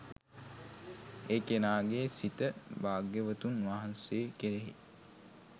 ඒ කෙනාගේ සිත භාග්‍යවතුන් වහන්සේ කෙරෙහි